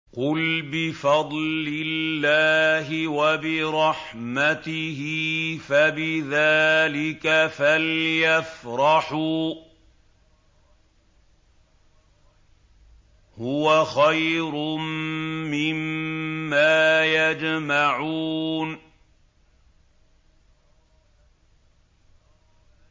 قُلْ بِفَضْلِ اللَّهِ وَبِرَحْمَتِهِ فَبِذَٰلِكَ فَلْيَفْرَحُوا هُوَ خَيْرٌ مِّمَّا يَجْمَعُونَ